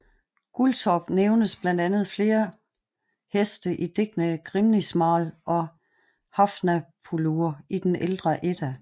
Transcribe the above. Guldtop nævnes blandt flere andre heste i digtene Grímnismál og Nafnaþulur i den Ældre Edda